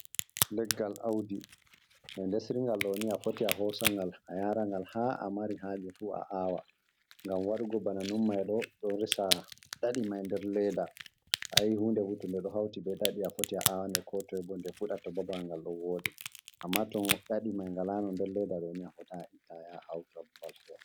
Leggal auɗi, ɓe ɗesringal ɗoni, afoti a hosa ngal a yara ngal ha amari haje fu a aawa. Ngam waɗugo ɓana nun maiɗo ɗon resa nɗaɗi mai nɗer leɗɗa. Ayi hunɗe ɓo to ɓe ɗo hauti ɓe nɗaɗi afoti a awaɗe ko toi ɓo nɗe fuɗa to ɓaɓal ngal ɗon wooɗi, amma to nɗaɗi galano nɗer leɗɗa ɗoni a fotai a itta ya hauto ɓaɓal fare.